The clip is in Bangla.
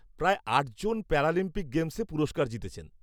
-প্রায় আটজন প্যারালিম্পিক গেমসে পুরস্কার জিতেছেন।